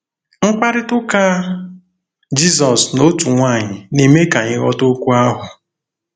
Mkparịta ụka Jizọs na otu nwanyị na-eme ka anyị ghọta okwu ahụ.